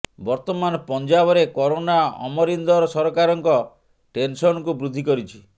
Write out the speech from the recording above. ବର୍ତ୍ତମାନ ପଞ୍ଜାବରେ କରୋନା ଅମରିନ୍ଦର ସରକାରଙ୍କ ଟେନସନକୁ ବୃଦ୍ଧି କରିଛି